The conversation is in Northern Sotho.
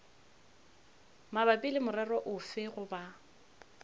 mabapi le morero ofe goba